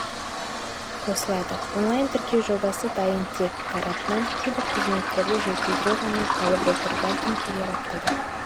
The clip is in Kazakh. қосылады онлайн-тіркеу жобасы дайын тек тарапынан кейбір қызметтерді жетілдіру ғана қалып отыр бәлкім келер аптада